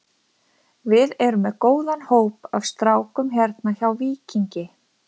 Við erum með góðan hóp af strákum hérna hjá Víkingi.